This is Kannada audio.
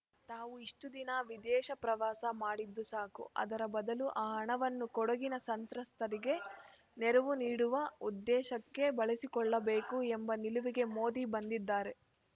ತಾವು ಇಷ್ಟುದಿನ ವಿದೇಶ ಪ್ರವಾಸ ಮಾಡಿದ್ದು ಸಾಕು ಅದರ ಬದಲು ಆ ಹಣವನ್ನು ಕೊಡಗಿನ ಸಂತ್ರಸ್ತರಿಗೆ ನೆರವು ನೀಡುವ ಉದ್ದೇಶಕ್ಕೆ ಬಳಸಿಕೊಳ್ಳಬೇಕು ಎಂಬ ನಿಲುವಿಗೆ ಮೋದಿ ಬಂದಿದ್ದಾರೆ